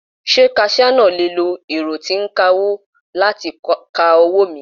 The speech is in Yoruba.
Ṣé kaṣíá náà le lo ẹ̀rọ tí ń kawó láti ka owó mi.